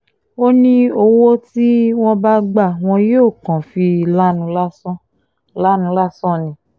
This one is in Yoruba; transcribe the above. ó ní owó tí wọ́n bá gbà wọ́n yóò kàn fi lanu lásán lanu lásán ni